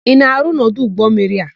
Ị na-arụ n'ọdụ ụgbọmmiri a?